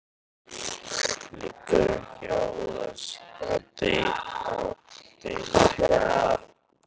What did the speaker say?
Liggur ekki á að leysa þessa deilu?